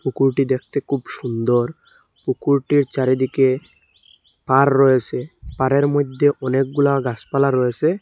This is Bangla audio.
পুকুরটি দেখতে খুব সুন্দর পুকুরটির চারিদিকে পাড় রয়েসে পাড়ের মধ্যে অনেকগুলা গাসপালা রয়েসে।